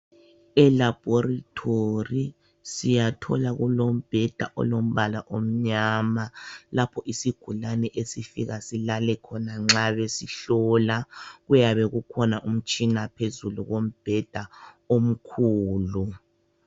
Elaboratory siyathola kulombheda olombala omnyama lapho isigulani esifika silale khona nxa besihlola. Kuyabe kukhona umtshina phezulu kombheda omkhulu